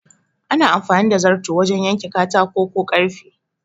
Ana amfani da zarto wajan yanke katako ko karfe